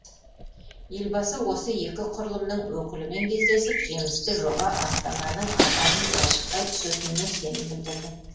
елбасы осы екі құрылымның өкілімен кездесіп жемісті жоба астананың ажарын айшықтай түсетініне сенім білдірді